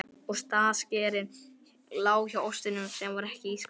Ostaskerinn lá hjá ostinum sem var ekki í ísskápnum.